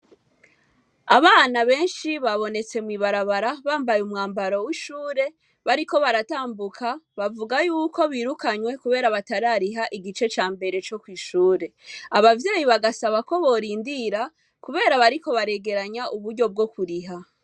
Abana benshi babonetse mwibarabara bambaye umwambaro wishure bariko baratambuka bavuga yuko birikanywe kubera yuko batarariha igice cambere cokwishure, abavyeyi bgasaba ko bariko baregeranye bwokuriha.